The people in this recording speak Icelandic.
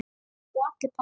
Og allir pass.